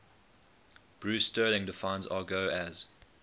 bruce sterling defines argot as